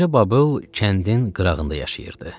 Qoca Babıl kəndin qırağında yaşayırdı.